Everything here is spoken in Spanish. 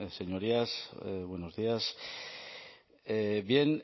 señorías buenos días bien